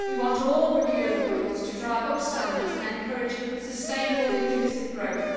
We want all procurement rules to drive up standards and encourage sustainable, inclusive growth.